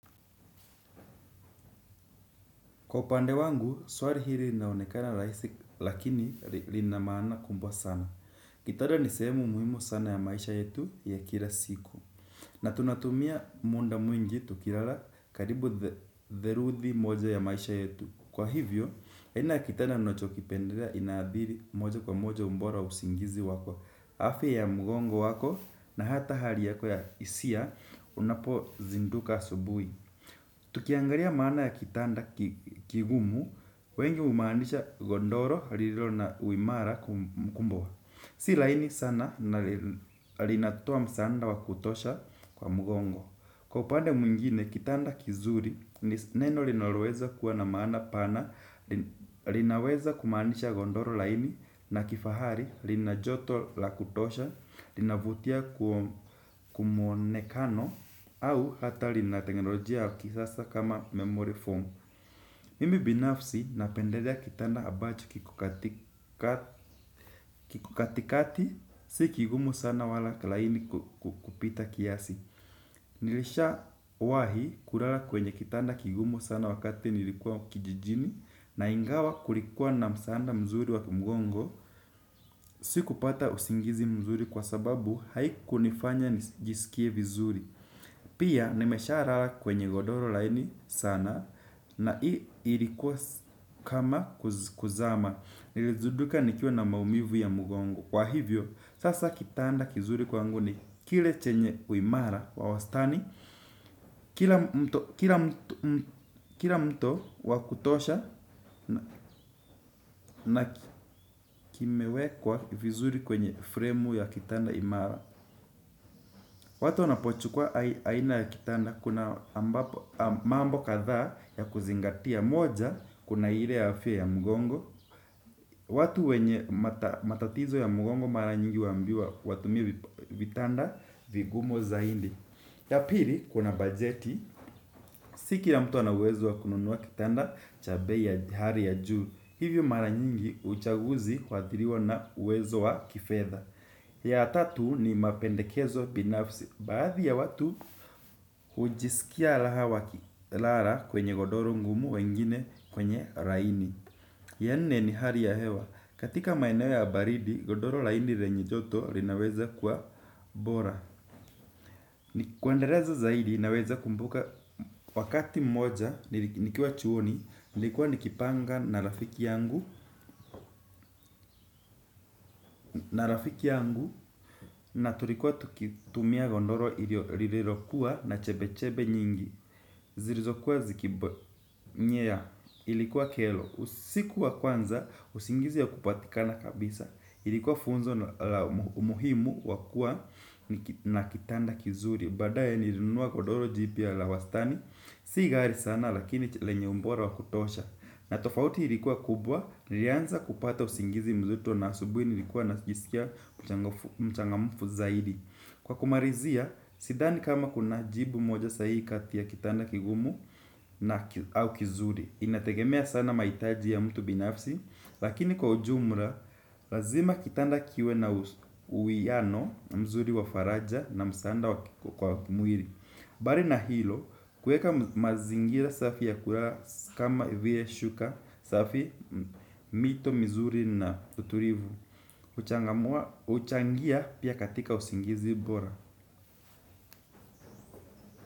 Kwa upande wangu, swari hili inaonekana raisi lakini lina maana kumbwa sana. Kitanda ni sehemu muhimu sana ya maisha yetu ya kila siku. Na tunatumia muda mwingi tukilala karibu theluthi moja ya maisha yetu. Kwa hivyo, aina ya kitanda nachokipendela inaadhiri moja kwa moja ubora wa usingizi wako. Afya ya mgongo wako na hata hali yako ya hisia unapozinduka asubuhi. Tukiangalia maana ya kitanda kigumu, wengi humaanisha godoro lililo na uimara kumbwa. Si laini sana na linatoa msaada wa kutosha kwa mgongo. Kwa upande mwingine, kitanda kizuri, ni neno linaloweza kuwa na maana pana. Linaweza kumaanisha godoro laini na kifahari, lina joto la kutosha, linavutia kumuonekano. Au hatari na teknolojia kisasa kama memory form. Mimi binafsi napendelea kitanda ambacho kiko katika kiko katikati. Si kigumu sana wala laini kupita kiasi. Nilishawahi kulala kwenye kitanda kigumu sana wakati nilikuwa kijijini. Na ingawa kulikuwa na msaada mzuri wa kimgongo. Sikupata usingizi mzuri kwa sababu haikunifanya nijisikie vizuri. Pia nimeshalala kwenye godoro laini sana na hii ilikuwa kama kuzama. Nilizinduka nikiwa na maumivu ya mgongo. Kwa hivyo, sasa kitanda kizuri kwangu ni kile chenye uimara wa wastani. Kila mto wa kutosha na kimewekwa vizuri kwenye fremu ya kitanda imara. Watu wanapochukua aina ya kitanda kuna mambo kadhaa ya kuzingatia moja kuna ile afya ya mgongo. Watu wenye matatizo ya mgongo mara nyingi huambiwa watumie vitanda vigumu zaidi. Ya pili kuna bajeti, si kila mtu ana uwezo wa kununua kitanda cha bei ya hali ya juu. Hivyo mara nyingi uchaguzi huathiriwa na uwezo wa kifedha. Ya tatu ni mapendekezo binafsi, baadhi ya watu hujisikia raha wakilala kwenye godoro ngumu wengine kwenye laini. Ya nne ni hali ya hewa, katika maeneo ya baridi, godoro laini lenye joto linaweza kuwa bora kuendeleza zaidi naweza kumbuka wakati mmoja, nikiwa chuoni, nilikuwa nikipanga na rafiki yangu. Na rafiki yangu na tulikuwa tukitumia godoro lililokuwa na chebe chebe nyingi. Zilizokuwa zikinyea ilikuwa kero. Usiku wa kwanza usingizi haukupatikana kabisa. Ilikuwa funzo la umuhimu wa kuwa na kitanda kizuri. Baadaye nilinunua godoro jipya la wastani. Si ghali sana lakini lenye ubora wa kutosha. Na tofauti ilikuwa kubwa nilianza kupata usingizi mzito na asubuhi nilikuwa najisikia mchangamfu zaidi. Kwa kumalizia, sidhani kama kuna jibu moja sahihi kati ya kitanda kigumu au kizuri. Inategemea sana mahitaji ya mtu binafsi. Lakini kwa ujumla, lazima kitanda kiwe na uwiano mzuri wa faraja na msaada kwa mwili. Bali na hilo, kueka mazingira safi ya kulala kama vile shuka, safi mito, mizuri na utulivu huchangia pia katika usingizi bora.